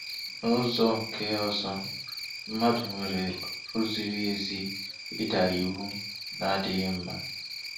N'ụzọ nke ọzọ, mmadụ nwere ọrụ ziri ezi ịda iwu na-adịghị mma.